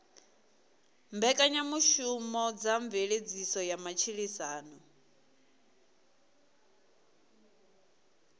mbekanyamushumo dza mveledziso ya matshilisano